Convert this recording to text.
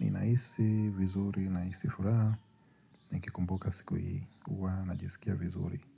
Nahisi vizuri nahisi vizuri nikumbuka siku hii huwa najisikia vizuri.